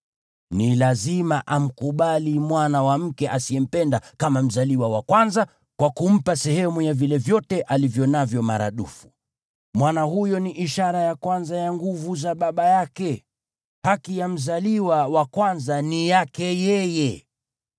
Ni lazima amkubali mwana wa mke asiyempenda kama mzaliwa wa kwanza kwa kumpa sehemu ya vile vyote alivyo navyo maradufu. Mwana huyo ni ishara ya kwanza ya nguvu za baba yake. Haki ya mzaliwa wa kwanza ni yake yeye.